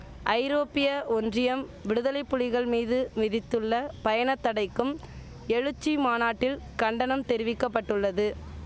ஐரோப்பிய ஒன்றியம் விடுதலை புலிகள் மீது விதிதுள்ள பயண தடைக்கும் எழுச்சி மாநாட்டில் கண்டனம் தெரிவிக்கபட்டுள்ளது